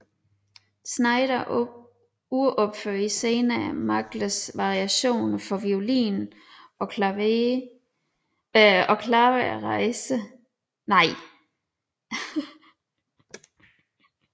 Znaider uropførte senere Magles variationer for violin og klaver Rejse i tid sammen med pianisten Daniel Gortler